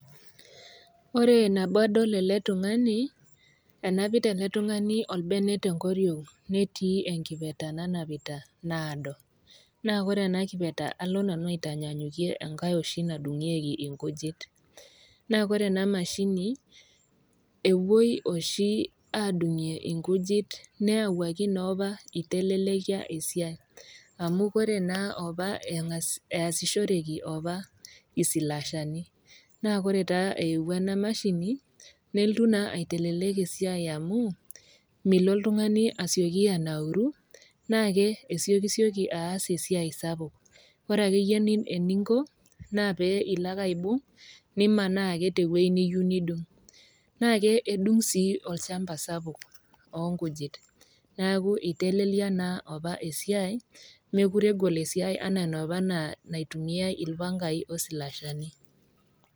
Ore nabo adol ele tung'ani, enapita ele tung'ani olbene te enkoriong' netii enkipirta naanapita, naado, naa ore ena kipeta, alo nanu aitanyanyukie enkai oshi nadung'ieki inkujit. Naa ore ena mashini epuoi oshi adung'ie inkujit neyauwaki noopa eitelelekia esiai , amu ore naa opa easishoreki opa isilashani, naa ore taa eewuo ena mashini, nelotu naa aitelelek esiai amu, milo oltung'ani asioki anauru, naake esiokisioki aas e siai sapuk, ore ake iyie eninko naake ilo ake aibung', nimanaa ake te ewueji niyou nidung . Naake edung sii olchamba sapuk oo nkujit, neaku eitelelia naa opa esiai, mekure egol esiai ana enoopa naitumiai ilpangai o isilashani.